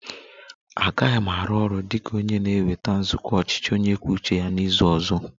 Agaghị m arụ ọrụ dị ka onye na-eweta nzukọ ọchịchị onye kwuo uche ya n'izu ọzọ